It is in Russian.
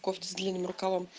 кофту с длинным рукавом